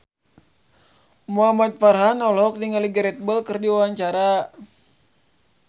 Muhamad Farhan olohok ningali Gareth Bale keur diwawancara